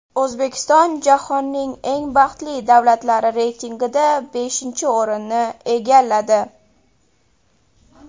O‘zbekiston jahonning eng baxtli davlatlari reytingida beshinchi o‘rinni egalladi.